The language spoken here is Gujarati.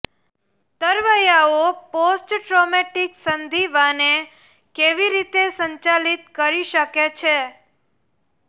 તરવૈયાઓ પોસ્ટ ટ્રોમેટિક સંધિવાને કેવી રીતે સંચાલિત કરી શકે છે